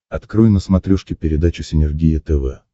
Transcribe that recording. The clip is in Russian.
открой на смотрешке передачу синергия тв